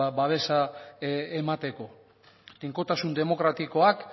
ba babesa emateko tinkotasun demokratikoak